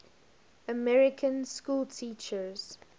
american schoolteachers